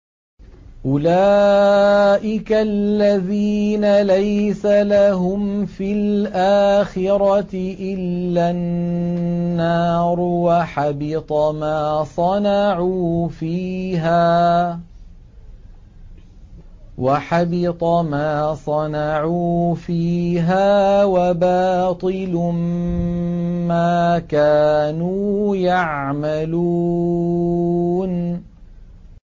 أُولَٰئِكَ الَّذِينَ لَيْسَ لَهُمْ فِي الْآخِرَةِ إِلَّا النَّارُ ۖ وَحَبِطَ مَا صَنَعُوا فِيهَا وَبَاطِلٌ مَّا كَانُوا يَعْمَلُونَ